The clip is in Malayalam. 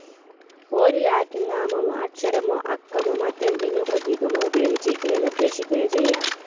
ഒരു ലാറ്റിൻ നാമമോ അക്ഷരമോ അക്കമോ മറ്റെന്തെങ്കിലും പ്രതീകമോ ഉപയോഗിച്ച് ഇതിനെ നിർദ്ദേശിക്കുകയും ചെയ്യാം.